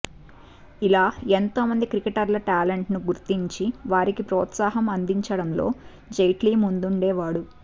ఇలా ఎంతో మంది క్రికెటర్ల టాలెంట్ ను గుర్తించి వారికి ప్రోత్సాహం అందించడంలో జైట్లీ ముందుండేవాడు